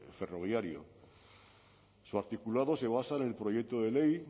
ferroviario su articulado se basa en el proyecto de ley